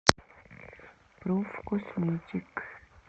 профкосметик